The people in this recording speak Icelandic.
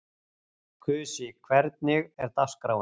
Kusi, hvernig er dagskráin?